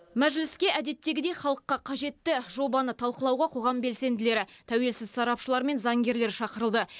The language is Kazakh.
мәжіліске әдеттегідей халыққа қажетті жобаны талқылауға қоғам белсенділері тәуелсіз сарапшылар мен заңгерлер шақырылды